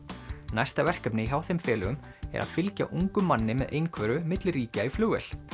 næsta verkefni hjá þeim félögum er að fylgja ungum manni með einhverfu milli ríkja í flugvél